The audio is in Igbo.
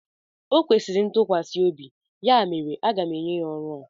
O kwesịrị ntukwasiobi ya mere aga m enye ya ọrụ a.